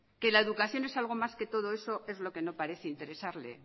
que la educación es algo más que todo eso es lo que no parece interesarle